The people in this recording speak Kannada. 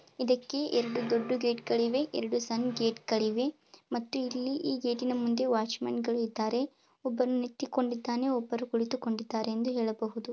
ಇದಕ್ಕೆ ಎರಡು ದೊಡ್ದು ಗೇಟ್ ಗಳಿವೆ ಹಾಗೂ ಎರಡು ಸಣ್ಣ ಗೇಟ್ ಗಳಿವೆ ಮತ್ತು ಇಲ್ಲಿ ಈ ಗೇಟಿ ನ ಮುಂದೆ ಇಬ್ಬರು ವಾಚ್ಮನ್ಗಳು ಇದ್ದಾರೆ ಒಬ್ಬರು ಕುಳಿತುಕೊಂಡಿದ್ದಾನೆ ಒಬ್ಬರು ನಿಂತುಕೊಂಡಿದ್ದಾರೆ ಅಂತ ಹೇಳಬಹುದು.